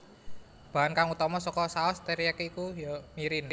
Bahan kang utama saka saos teriyaki iki ya iku mirin